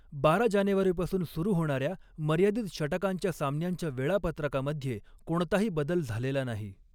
बारा जानेवारीपासून सुरू होणाऱ्या मर्यादित षटकांच्या सामन्यांच्या वेळापत्रकामध्ये कोणताही बदल झालेला नाही.